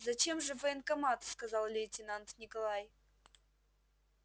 зачем же в военкомат сказал лейтенант николай